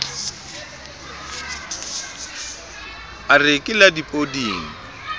a re ke la dipoding